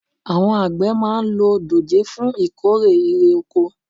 àwọn àgbẹ̀ máa ń lo dòjé fún ìkórè irè oko